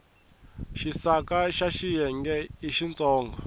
xisaka xa xinyenyani i xintsongo